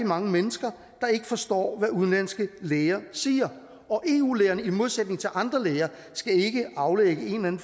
mange mennesker der ikke forstår hvad udenlandske læger siger og eu lægerne skal i modsætning til andre læger ikke aflægge en